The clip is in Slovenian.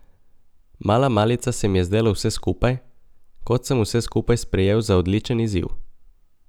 Mala malica se mi je zdelo vse skupaj, kot sem vse skupaj sprejel za odličen izziv.